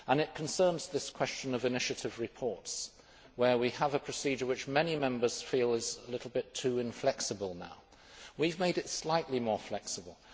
It concerns this question of initiative reports, where we have a procedure which many Members feel is a little bit too inflexible now. We have made it slightly more flexible.